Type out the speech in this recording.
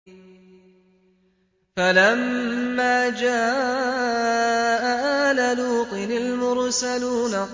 فَلَمَّا جَاءَ آلَ لُوطٍ الْمُرْسَلُونَ